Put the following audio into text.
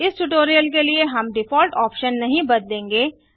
इस ट्यूटोरियल के लिए हम डिफॉल्ट ऑप्शन नहीं बदलेंगे